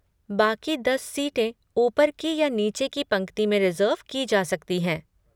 बाकी दस सीटें ऊपर की या नीचे की पंक्ति में रिज़र्व की जा सकती हैं।